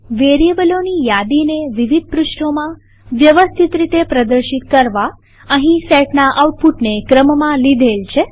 વેરીએબલોની યાદીને વિવિધ પૃષ્ઠોમાં વ્યવસ્થિત રીતે પ્રદર્શિત કરવા અહીં સેટના આઉટપુટને ક્રમમાં લીધેલ છે